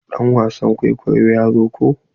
Dan wasan kwaikwayo ya zo ko?